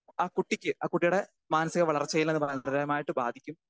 Speaker 2 ആ കുട്ടിക്ക് ആ കുട്ടിയുടെ മാനസിക വളർച്ചയിലത് ഗുരുതരമായിട്ട് ബാധിക്കും.